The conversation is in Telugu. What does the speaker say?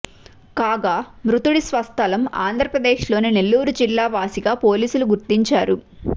కాగా మృతుడి స్వస్థలం ఆంద్ర ప్రదేశ్ లోని నెల్లూరు జిల్లా వాసిగా పోలీసులు గుర్తించారు